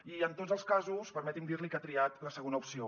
i en tots els casos permeti’m dirli que ha triat la segona opció